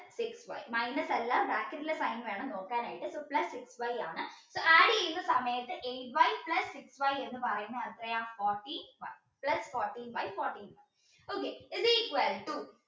plus six y minus അല്ല bracket ൽ sign വേണം നോക്കാൻ ആയിട്ട് ഇപ്പോൾ plus six y ആണ് so add ചെയ്യുന്ന സമയത്ത് eight y plus six y എന്ന് പറയുന്ന എത്രയാ fourteen plus fourteen y okay is equal to